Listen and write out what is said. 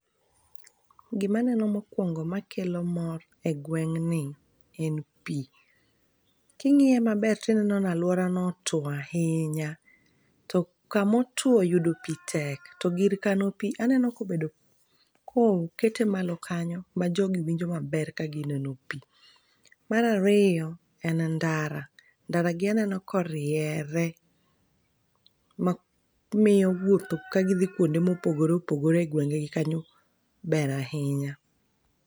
Gimaneno mokwongo makelo mor e gweng'ni en pii. King'iye maber tineno nalwaora no otwo ahinya. To kamotwo yudo pii tek to gir kano pii aneno kobedo ko kete malo kanyo ma jogi winjo maber ka gieno pii. Mar ariyo, en ndara, ndara gi aneno koriere ma miyo wuotho ka gidhi kwonde mopogore opogore e gwenge gi kanyo ber ahinya